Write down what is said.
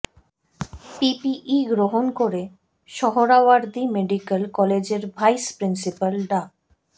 PPE গ্রহণ করে Suhrawardy medical কলেজের ভাইস প্রিন্সিপাল ডা